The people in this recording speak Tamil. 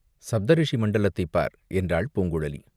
சப்த ரிஷிமண்டலத்தைப் பார்!" என்றாள் பூங்குழலி.